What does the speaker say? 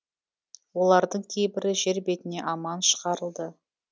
олардың кейбірі жер бетіне аман шығарылды